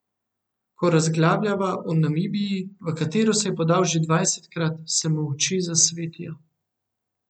Ko razglabljava o Namibiji, v katero se je podal že dvajsetkrat, se mu oči zasvetijo.